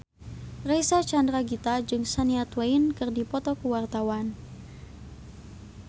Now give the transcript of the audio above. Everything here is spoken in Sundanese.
Reysa Chandragitta jeung Shania Twain keur dipoto ku wartawan